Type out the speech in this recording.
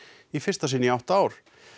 í fyrsta sinn í átta ár